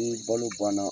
Ni balo banna